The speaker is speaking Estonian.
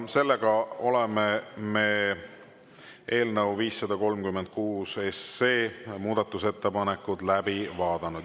Me oleme eelnõu 536 muudatusettepanekud läbi vaadanud.